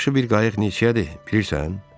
Yaxşı bir qayıq neçəyədir, bilirsən?